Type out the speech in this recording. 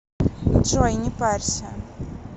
джой не парься